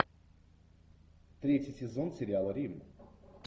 третий сезон сериала рим